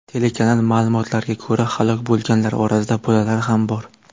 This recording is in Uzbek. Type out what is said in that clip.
Telekanal ma’lumotlariga ko‘ra, halok bo‘lganlar orasida bolalar ham bor.